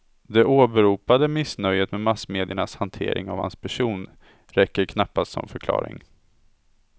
Det åberopade missnöjet med massmediernas hantering av hans person räcker knappast som förklaring.